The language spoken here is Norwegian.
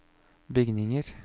bygninger